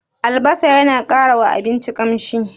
Albasa yana ƙara wa abinci ƙamshi?